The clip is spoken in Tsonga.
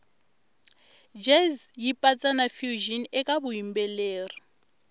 jazz yipatsa nafusion ekavuyimbeleri